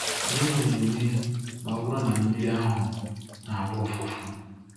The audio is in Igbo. Gịnị na-eme ma ọ bụrụ na mmiri ahụ na-agba ụfụfụ?